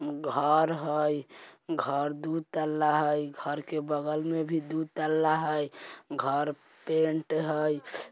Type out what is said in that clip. घर हई घर दू तल्ला हई घर के बगल में भी दू तल्ला है घर पेंट हाई।